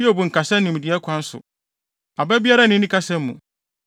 ‘Hiob nkasa nimdeɛ kwan so; aba biara nni ne kasa mu.’